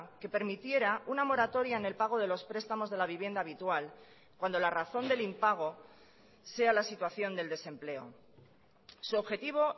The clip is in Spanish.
que permitiera una moratoria en el pago de los prestamos de la vivienda habitual cuando la razón del impago sea la situación del desempleo su objetivo